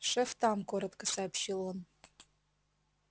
шеф там коротко сообщил он